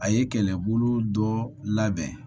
A ye kɛlɛbolo dɔ labɛn